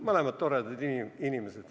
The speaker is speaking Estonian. Mõlemad toredad inimesed.